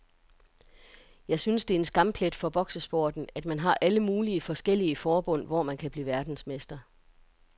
Jeg synes det er en skamplet for boksesporten, at man har alle mulige forskellige forbund, hvor man kan blive verdensmester.